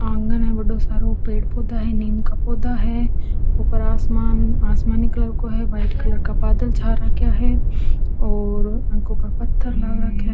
आँगन है बड़ो सारो पेड़ पौधा है नीम का पौधा है ऊपर आसमान आसमानी कलर को है वाइट कलर का बादल छा रखया है और आगो पर पत्थर लाग रखया।